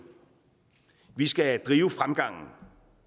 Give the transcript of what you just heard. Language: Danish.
vi skal drive fremgangen